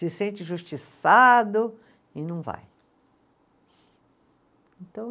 Se sente injustiçado e não vai, então